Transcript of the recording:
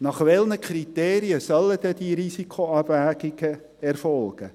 Nach welchen Kriterien sollen denn diese Risikoabwägungen erfolgen?